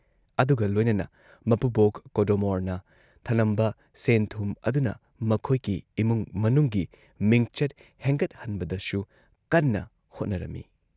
ꯑꯗꯨꯒ ꯂꯣꯏꯅꯅ ꯃꯄꯨꯕꯣꯛ ꯀꯣꯗꯣꯃꯣꯔꯅ ꯊꯅꯝꯕ ꯁꯦꯟꯊꯨꯝ ꯑꯗꯨꯅ ꯃꯈꯣꯏꯒꯤ ꯏꯃꯨꯡ ꯃꯅꯨꯡꯒꯤ ꯃꯤꯡꯆꯠ ꯍꯦꯟꯒꯠꯍꯟꯕꯗꯁꯨ ꯀꯟꯅ ꯍꯣꯠꯅꯔꯝꯃꯤ ꯫